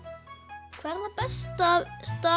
hvað er það besta